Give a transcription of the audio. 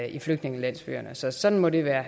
i flygtningelandsbyerne så sådan må det være